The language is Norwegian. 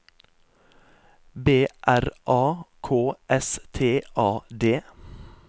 B R A K S T A D